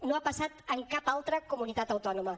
no ha passat en cap altra comunitat autònoma